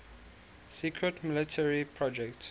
secret military project